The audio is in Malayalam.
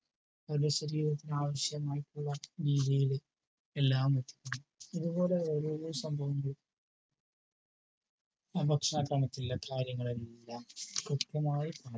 ഒരു ശരീരത്തിനാവശ്യമായിട്ടുള്ള എല്ലാം ഇതുപോലെ ഓരോരോ സംഭവങ്ങളും കാര്യങ്ങളെല്ലാം കൃത്യമായി